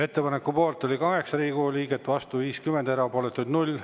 Ettepaneku poolt oli 8 Riigikogu liiget, vastu 50, erapooletuid 0.